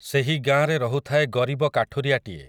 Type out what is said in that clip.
ସେହି ଗାଁରେ ରହୁଥାଏ ଗରିବ କାଠୁରିଆଟିଏ ।